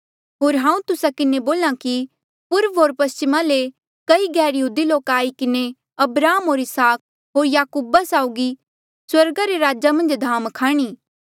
होर हांऊँ तुस्सा किन्हें बोल्हा कि पूर्व होर पस्चिमा ले कई गैरयहूदी लोका आई किन्हें अब्राहम होर इसहाक होर याकूबा साउगी स्वर्गा रे राजा मन्झ धाम खाणी